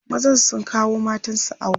mazan sun kawo matansu awo